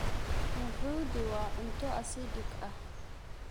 Nuhudi waa cunto acidic ah.